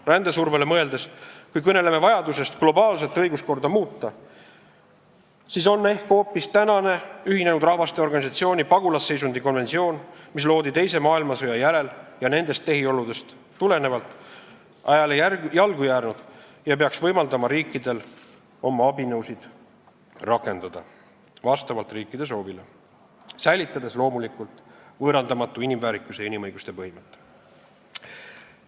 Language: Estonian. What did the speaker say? Rändesurvele mõeldes: kui me kõneleme vajadusest globaalset õiguskorda muuta, siis on ehk hoopis tänane ÜRO pagulasseisundi konventsioon, mis loodi teise maailmasõja järel ja nendest tehioludest tulenevalt, ajale jalgu jäänud ja peaks võimaldama riikidel rakendada oma abinõusid vastavalt nende soovile, säilitades loomulikult võõrandamatu inimväärikuse ja inimõiguste põhimõtte.